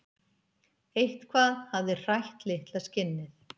Eitthvað hafði hrætt litla skinnið.